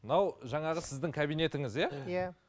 мынау жаңағы сіздің кабинетіңіз иә иә